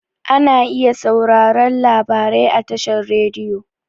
Ana iya sauraren labarai a tashar rediyo.